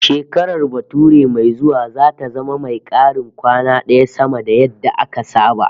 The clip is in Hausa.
Shekarar bature mai zuwa zata zama mai karin kwana daya sama da yadda aka saba